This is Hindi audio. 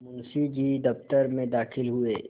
मुंशी जी दफ्तर में दाखिल हुए